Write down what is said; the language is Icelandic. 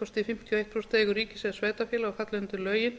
kosti fimmtíu og eitt prósent í eigu ríkis eða sveitarfélaga og falla undir lögin